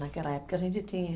Naquela época a gente tinha.